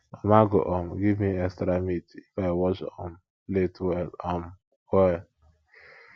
mama go um give me extra meat if i wash um plate well um well